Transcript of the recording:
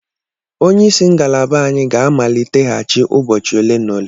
Onye isi ngalaba anyị ga-amaliteghachi ụbọchị ole na ole.